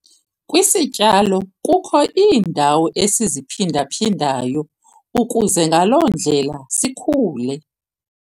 Kwisityalo kukho iindawo esiziphinda-phindayo ukuze ngaloo ndlela sikhule.